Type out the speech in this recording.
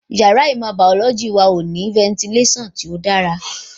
Yàrá ìmọ̀ bàọ́lọ́jì wa ti tẹ́lẹ̀ ò ní fẹntilásàn tó dára